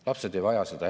Lapsed ei vaja seda.